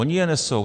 Ony je nesou.